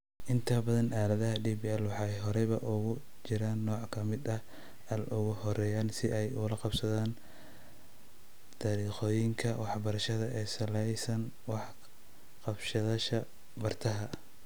Inta badan aaladaha DPL waxay horeba ugu jiraan nooc ka mid ah AI, ugu horrayn si ay ula qabsadaan dariiqooyinka waxbarashada ee ku salaysan wax-ka-qabashada bartaha.